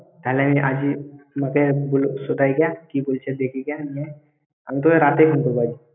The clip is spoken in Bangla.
তাহলে আমি আজ এই মাকে সুধাই গা। কি কইসে দেখি গিয়া। আমি তরে রাতেই phone করব।